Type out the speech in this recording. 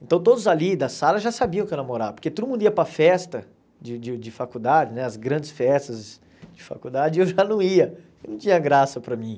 Então todos ali da sala já sabiam que eu namorava, porque todo mundo ia para a festa de de de faculdade né, as grandes festas de faculdade, e eu já não ia, não tinha graça para mim.